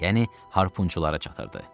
yəni harpunçulara çatırdı.